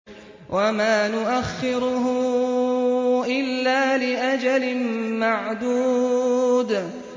وَمَا نُؤَخِّرُهُ إِلَّا لِأَجَلٍ مَّعْدُودٍ